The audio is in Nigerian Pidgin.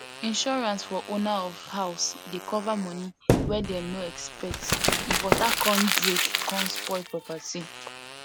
insurance for owner of house dey cover money wey them no expect if water con break con spoil property